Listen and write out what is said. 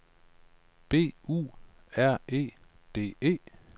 B U R E D E